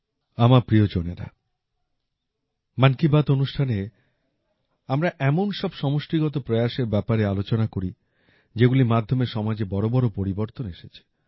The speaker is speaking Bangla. আমার প্রিয়জনেরা মন কী বাত অনুষ্ঠানে আমরা এমন সব সমষ্টিগত প্রয়াসের ব্যাপারে আলোচনা করি যেগুলির মাধ্যমে সমাজে বড়বড় পরিবর্তন এসেছে